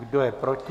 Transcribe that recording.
Kdo je proti?